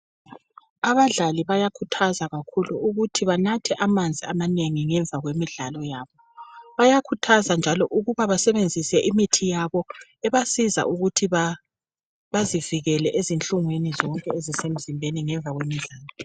Abadlali bayakhuthazwa kakhulu ukuthi banathe amanzi amanengi ngemva kwemidlalo yabo. Bayakhuthazwa njalo ukuba basebenzise imithi yabo ebasiza ukuthi bazivikele ezinhlungwini ezisemzimbeni zonke ngemva kwemidlalo.